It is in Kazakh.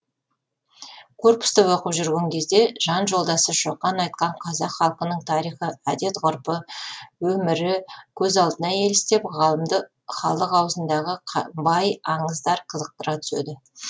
корпуста оқып жүрген кезде жан жолдасы шоқан айтқан қазақ халқының тарихы әдет ғұрпы өмірі көз алдына елестеп ғалымды халық аузындағы бай аңыздар қызықтыра түседі